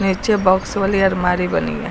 नीचे बॉक्स वाली अलमारी बनी है।